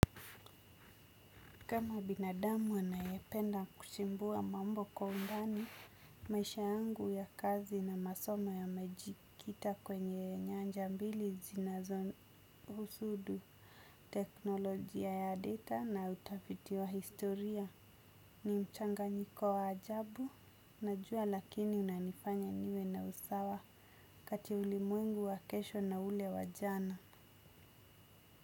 Kama binadamu anayependa kuchimbua mambo kwa undani, maisha yangu ya kazi na masomo yamejikita kwenye nyanja mbili zinazohusu teknolojia ya data na utafiti wa historia. Ni mchanganyiko wa ajabu, najua lakini unanifanya niwe na usawa kati ulimwengu wa kesho na ule wa jana.